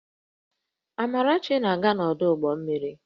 Amarachi na-aga n'ọdụ ụgbọ mmiri